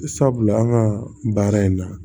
Sabula an ka baara in na